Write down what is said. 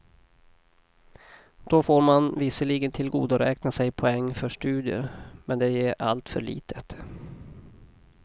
Då får man visserligen tillgodoräkna sig poäng för studier, men det ger alltför litet.